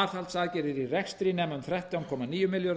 aðhaldsaðgerðir í rekstri nema um þrettán komma níu milljörðum